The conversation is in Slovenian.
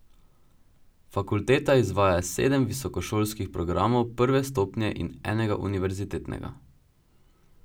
Fakulteta izvaja sedem visokošolskih programov prve stopnje in enega univerzitetnega.